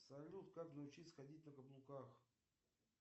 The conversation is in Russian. салют как научиться ходить на каблуках